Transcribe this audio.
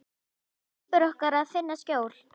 Hann skipar okkur að finna skjól.